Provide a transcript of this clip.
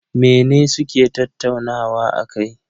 Mene suke tattaunawa akai?